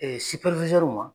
ma.